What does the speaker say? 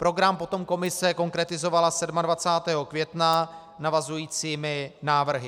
Program potom Komise konkretizovala 27. května navazujícími návrhy.